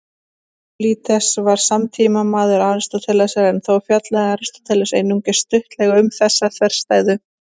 Evbúlídes var samtímamaður Aristótelesar, en þó fjallaði Aristóteles einungis stuttlega um þessa þverstæðu.